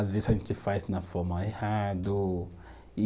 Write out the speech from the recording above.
Às vezes a gente faz na forma errado e